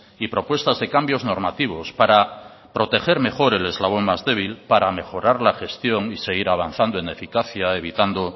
y propuestas de cambios normativos para proteger mejor el eslabón más débil para mejorar la gestión y seguir avanzando en eficacia evitando